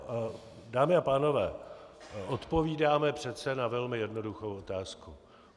Dámy a pánové, odpovídáme přece na velmi jednoduchou otázku.